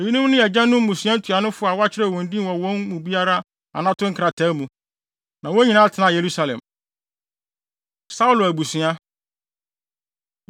Eyinom ne agyanom mmusua ntuanofo a wɔakyerɛw wɔn din wɔ wɔn mu biara anato nkrataa mu. Na wɔn nyinaa tenaa Yerusalem. Saulo Abusua